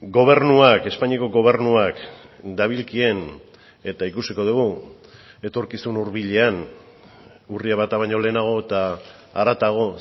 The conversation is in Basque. gobernuak espainiako gobernuak dabilkien eta ikusiko dugu etorkizun hurbilean urria bata baino lehenago eta haratago